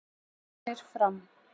Fjölnir- Fram